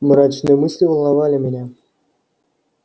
мрачные мысли волновали меня